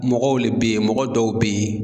Mɔgɔw le bɛ ye mɔgɔ dɔw bɛ ye